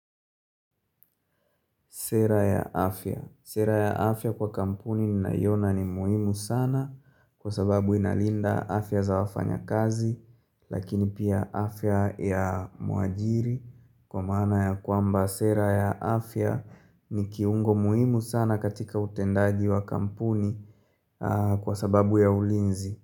Sera ya afya. Sera ya afya kwa kampuni ni nayona ni muhimu sana kwa sababu inalinda afya za wafanya kazi lakini pia afya ya muajiri kwa mana ya kwamba sera ya afya ni kiungo muhimu sana katika utendaji wa kampuni kwa sababu ya ulinzi.